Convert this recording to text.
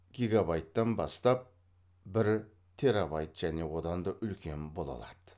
гегабайттан бастап бір терабайт және одан да үлкен бола алады